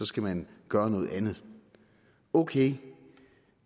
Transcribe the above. skal man gøre noget andet ok